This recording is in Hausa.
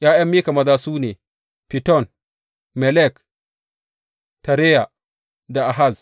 ’Ya’yan Mika maza su ne, Fiton, Melek, Tareya da Ahaz.